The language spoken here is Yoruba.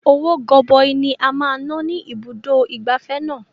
Owó goboi ni a máa ná ní ibùdó ìgbafẹ́ náà.